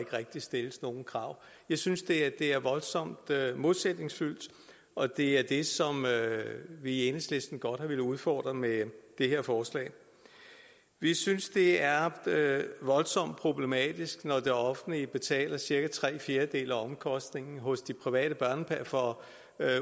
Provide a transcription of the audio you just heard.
rigtig stilles nogen krav jeg synes det er voldsomt modsætningsfyldt og det er det som vi i enhedslisten godt har villet udfordre med det her forslag vi synes det er voldsomt problematisk når det offentlige betaler cirka tre fjerdedele af omkostningerne for